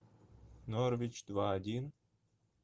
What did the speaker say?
норвич два один